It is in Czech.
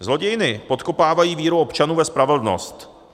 Zlodějny podkopávají víru občanů ve spravedlnost.